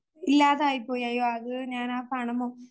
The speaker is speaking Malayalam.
ഇല്ലാതായിപ്പോയി അയ്യോ അത് ഞാനാ ആ പണം